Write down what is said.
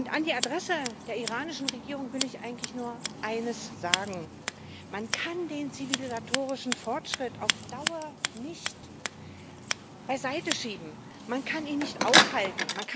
An die Adresse der iranischen Regierung will ich eigentlich nur eines sagen Man kann den zivilisatorischen Fortschritt auf Dauer nicht beiseiteschieben, man kann ihn nicht aufhalten.